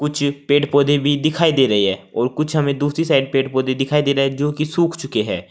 कुछ पेड़ पौधे भी दिखाई दे रहे हैं और कुछ हमें दूसरी साइड पेड़ पौधे दिखाई दे रहे हैं जो की सूख चुके हैं।